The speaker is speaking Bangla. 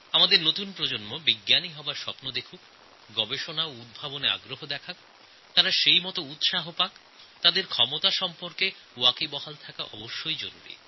নতুন প্রজন্ম বৈজ্ঞানিক হওয়ার স্বপ্ন দেখুক গবেষণা এবং উদ্ভাবনায় আগ্রহ দেখাক আর তাঁদের উৎসাহিত করা তাঁদের ক্ষমতা সম্পর্কে অবহিত হওয়া খুব দরকার